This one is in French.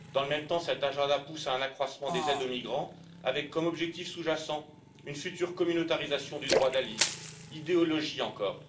Dans le même temps, ce programme pousse à un accroissement des aides aux migrants, avec comme objectif sous jacent une future communautarisation du droit d'asile, par idéologie encore.